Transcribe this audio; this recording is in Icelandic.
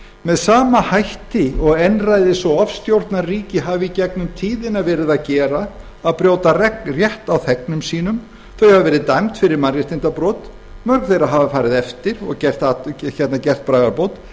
með sama hætti og einræðis og ofstjórnarríki hafa í gegnum tíðina gert þau hafa verið dæmd fyrir mannréttindabrot mörg þeirra hafa farið eftir því og gert bragarbót